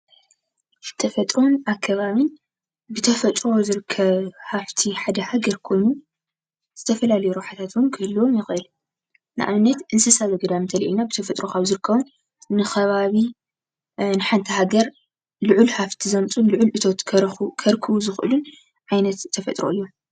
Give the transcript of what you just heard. ተፈጥሮን ኣከባብን ብተፈጥሮ ዝርከብ ሃፍቲ ሓደ ሃገር ኮይኑ ዝተፈላለዩ ረብሓታት ውን ክህልዎም ይኽእል። ንኣብነት እንስሳ ዘገዳም እንተሪእና ብተፈጥሮ ካብ ዝርከቡ ንከባቢ ንሓንቲ ሃገር ልዑል ሃፍቲ ዘምፅኡ ልዑል እቶት ክርክቡ ዝኽእሉ ዓይነት ተፈጥሮ እዮም።